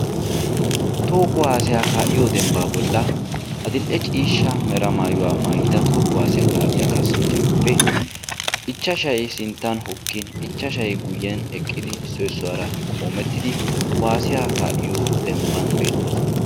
Toho kuwasiyaa ka'iyo demban adil'e ciishshaa mera maayida toho kuwasiyaa ka'iya kassanchchatuppe ichchashshay sinttan hokkin ichchashshay guyen eqqidi issoy issuwaara qoomettidi kuwasiyaa ka'iyo demban beettoosona.